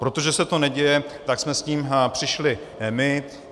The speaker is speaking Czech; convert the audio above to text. Protože se to neděje, tak jsme s tím přišli my.